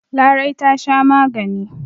Larai ta sha magani.